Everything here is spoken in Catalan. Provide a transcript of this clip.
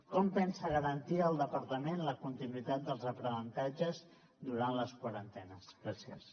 com pensa garantir el departament la continuïtat dels aprenentatges durant les quarantenes gràcies